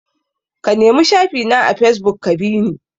Ka nemi shafi na a fesbuk ka bi ni!